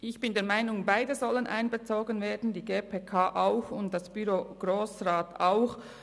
Ich bin der Meinung, beide sollen einbezogen werden sollen, die GPK und auch das Büro des Grossen Rats.